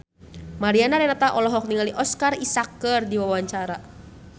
Mariana Renata olohok ningali Oscar Isaac keur diwawancara